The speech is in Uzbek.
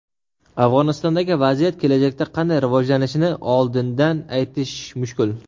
Afg‘onistondagi vaziyat kelajakda qanday rivojlanishini oldindan aytish mushkul.